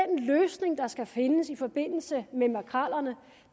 den løsning der skal findes i forbindelse med makrellerne